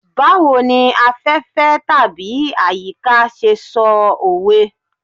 Bawo ni afefe/ayika ṣe sọ owe